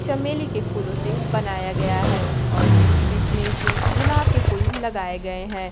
चमेली के फूलों से बनाया गया है और बीच बीच में इसमें गुलाब के फूल लगाए गए हैं।